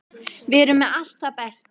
Við erum með allt það besta.